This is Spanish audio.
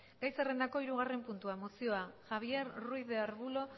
gai zerrendako hirugarren puntua mozioa javier ruiz de arbulo